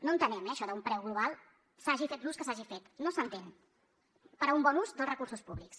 no entenem eh això d’un preu global se n’hagi fet l’ús que se n’hagi fet no s’entén per a un bon ús dels recursos públics